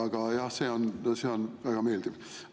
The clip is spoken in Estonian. Aga, jah, see on väga meeldiv.